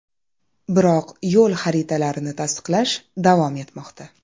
Biroq yo‘l xaritalarini tasdiqlash davom etmoqda.